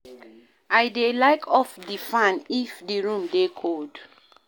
I dey like off di fan if di room dey cold.